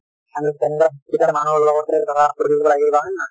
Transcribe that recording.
আমি মানুহৰ লগতে ধৰা হয় নে নহয়